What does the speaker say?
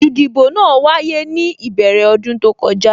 Ìdìbò náà wáyé ní ìbẹ̀rẹ̀ ọdún tó kọjá